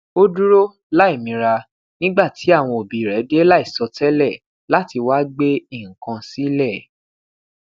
o duro laimira nigba ti awọn obi rẹ de laisọtẹlẹ lati wa gbe nnkan silẹ